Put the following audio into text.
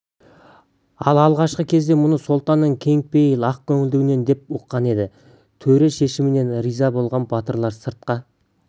ал алғашқы кезде мұны сұлтанның кеңпейіл ақ көңілдігінен деп ұққан-ды төре шешіміне риза болған батырлар сыртқа